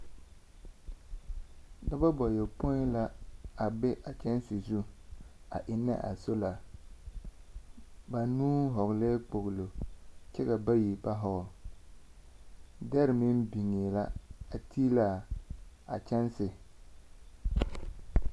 Dɔbɔ bayɔpõĩ la a be a kyɛnse zu, a ennɛ a sola, banuu hɔglɛɛ kpoglo, kyɛ ka bayi ba hɔgle. Dɛre meŋ biŋee la, a tiilaa, a kyɛnse.